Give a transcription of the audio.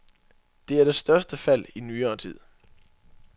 Det er det største fald i nyere tid.